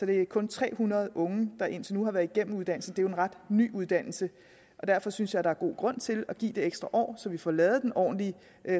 det kun tre hundrede unge der indtil nu har været igennem uddannelsen det er en ret ny uddannelse og derfor synes jeg der er god grund til at give det ekstra år så vi får lavet den ordentlige